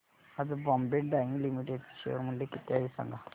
आज Bombay Dyeing Limited चे share मूल्य किती आहे सांगा